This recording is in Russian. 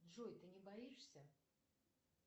джой ты не боишься